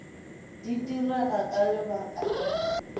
di direga ka lebaka la